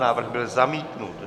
Návrh byl zamítnut.